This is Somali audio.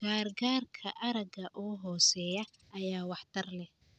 Gargaarka aragga oo hooseeya ayaa waxtar leh.